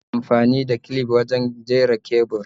Ana amfani da clif wurin jera kebur